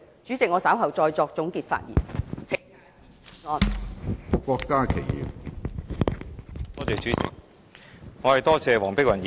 主席，我稍後再作總結發言，請大家支持議案。